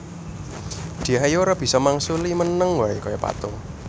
Dyah Ayu ora bisa mangsuli meneng wae kaya patung